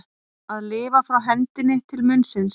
Að lifa frá hendinni til munnsins